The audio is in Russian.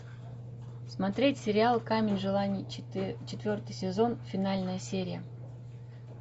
смотреть сериал камень желаний четвертый сезон финальная серия